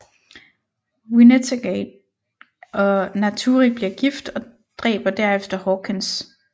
Wynnegate og Naturich bliver gift og dræber derefter Hawkins